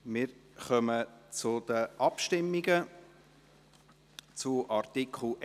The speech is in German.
Wir kommen zu den Abstimmungen zu Artikel 21.